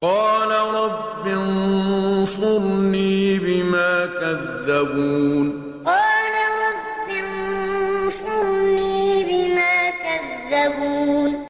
قَالَ رَبِّ انصُرْنِي بِمَا كَذَّبُونِ قَالَ رَبِّ انصُرْنِي بِمَا كَذَّبُونِ